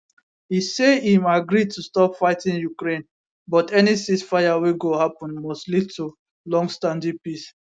e say im agree to stop fighting ukraine but any ceasefire wey go happun must lead to longstanding peace